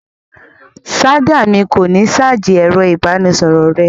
Ṣáj mi kò ní ṣáájì ẹ̀rọ-ìbánisọ̀rọ̀ rẹ.